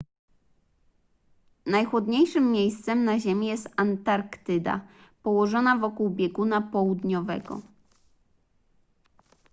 najchłodniejszym miejscem na ziemi jest antarktyda położona wokół bieguna południowego